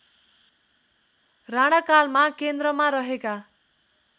राणाकालमा केन्द्रमा रहेका